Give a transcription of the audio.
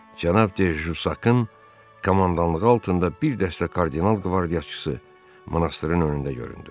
cənab de Jussakın komandanlığı altında bir dəstə kardinal qvardiyaçısı monastırın önündə göründü.